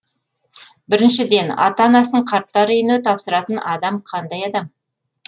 біріншіден ата анасын қарттар үйіне тапсыратын адам қандай адам